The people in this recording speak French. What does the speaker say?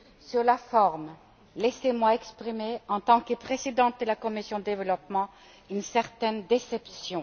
Sur la forme, laissez moi exprimer, en tant que présidente de la commission du développement, une certaine déception.